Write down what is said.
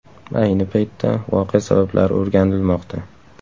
Ayni paytda voqea sabablari o‘rganilmoqda.